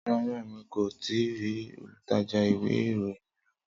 Rara, Emi ko tii ri olutaja iwe iroyin loni.